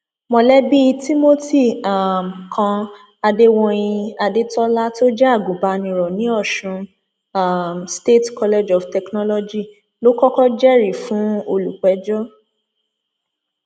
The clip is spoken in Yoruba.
mọlẹbí timothy um kan adéwòyìn adétola tó jẹ agùnbàníró ní ọṣún um state college of technology ló kọkọ jẹrìí fún olùpẹjọ